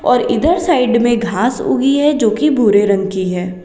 और इधर साइड में घास उगी है जो की भूरे रंग की है।